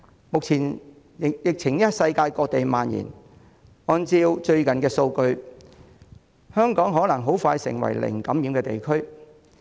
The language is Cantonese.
疫情目前在世界各地蔓延，按照最近的數據，香港可能很快成為零感染的地區。